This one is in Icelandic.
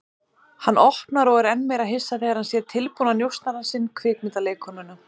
Hann opnar og er enn meira hissa þegar hann sér tilbúna njósnarann sinn, kvikmyndaleikkonuna.